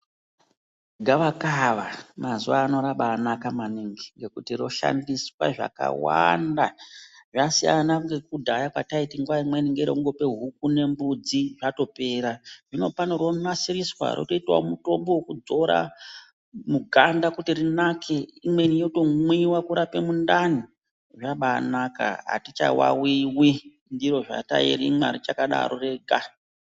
Gavakava mazuwa ano rabaanaka maningi ngekuti roshandiswa zvakawanda. Zvasiyana ngekudhaya kwetaiti nguwa imweni ngerekungope huku kana mbudzi zvatopera. Zvinopano rotonasiriswa kuite mitombo wekudzora paganda rinake. Imweni yotomwiwa kurape mundani. Zvabaanaka, atichawawiwi ndiro sezvatairimwa richakadaro rega.